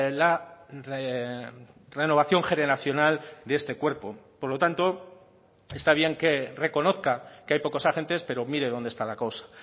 la renovación generacional de este cuerpo por lo tanto está bien que reconozca que hay pocos agentes pero mire dónde está la cosa